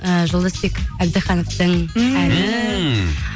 ііі жолдасбек әбдахановтың